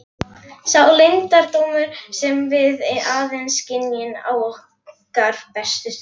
Sá leyndardómur sem við aðeins skynjum á okkar bestu stundum.